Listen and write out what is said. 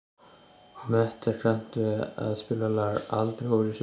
Metta, kanntu að spila lagið „Aldrei fór ég suður“?